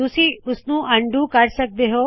ਤੁਸੀ ਇਸਨੂ ਅਨਡੂ ਕਰ ਸਕਦੇ ਹੋ